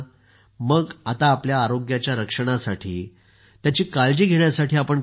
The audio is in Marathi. मग आता आपल्या आरोग्याच्या रक्षणासाठी त्याची काळजी घेण्यासाठी आपण काय करताय